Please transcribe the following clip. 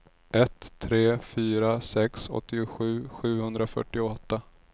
ett tre fyra sex åttiosju sjuhundrafyrtioåtta